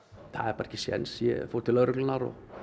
það er bara ekki séns ég fór til lögreglunnar